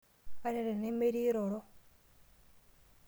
Ata tenemetii iroro.